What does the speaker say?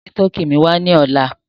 Gbé Tọkì mi wà lọ́là!